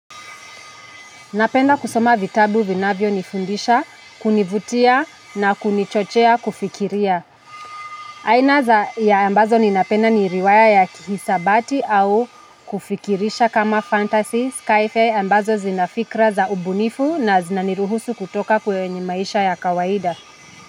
Napenda kusoma vitabu vinavyo nifundisha, kunivutia na kunichochea kufikiria. Aina za ya ambazo ninapenda ni riwaya ya kihisabati au kufikirisha kama fantasy, skyfare ambazo zinafikra za ubunifu na zinaniruhusu kutoka kwenye maisha ya kawaida.